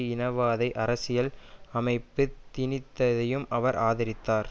இனவாத அரசியல் அமைப்பு திணித்ததையும் அவர் ஆதரித்தார்